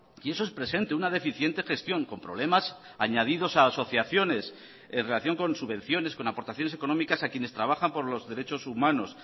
y eso es presente una deficientegestión con problemas añadidos a asociaciones en relación con subvenciones con aportaciones económicas a quienes trabajan por los derechos humanos